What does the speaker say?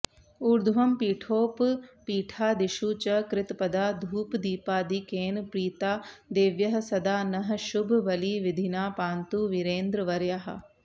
ऊर्ध्वं पीठोपपीठादिषु च कृतपदा धूपदीपादिकेन प्रीता देव्यः सदा नः शुभबलिविधिना पान्तु वीरेन्द्रवर्याः